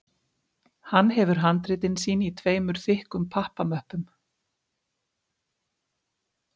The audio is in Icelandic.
Hann hefur handritin sín í tveimur þykkum pappamöppum